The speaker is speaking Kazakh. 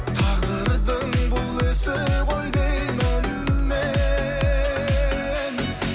тағдырдың бұл ісі ғой деймін мен